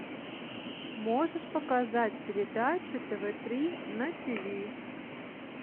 можешь показать передачу тв три на ти ви